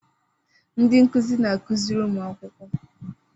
Ndị nkụzi na-akụziri ụmụ akwụkwọ.